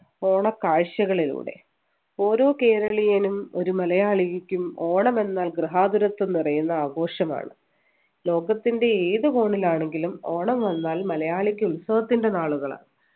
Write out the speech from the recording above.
ഓണ കാഴ്ചകളിലൂടെ ഓരോ കേരളീയനും ഒരു മലയാളിക്കും ഓണം എന്നാൽ ഗൃഹാതുരത്വം നിറയുന്ന ആഘോഷമാണ് ലോകത്തിൻ്റെ ഏത് കോണിലാണെങ്കിലും ഓണം വന്നാൽ മലയാളിക്ക് ഉത്സവത്തിന് നാളുകളാണ്